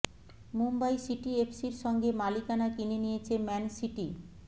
Mumbai City এফসির সঙ্গে মালিকানা কিনে নিয়েছে ম্যান সিটি